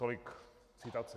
Tolik citace.